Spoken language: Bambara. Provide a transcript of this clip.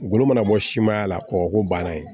Golo mana bɔ siman la kɔgɔko banna yen